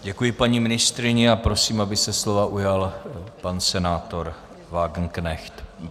Děkuji paní ministryni a prosím, aby se slova ujal pan senátor Wagenknecht.